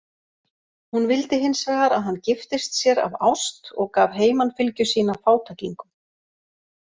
Hún vildi hins vegar að hann giftist sér af ást og gaf heimanfylgju sína fátæklingum.